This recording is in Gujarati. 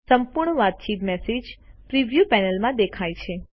સંપૂર્ણ વાતચીત મેસેજ પ્રિવ્યુ પેનલમાં દેખાય છે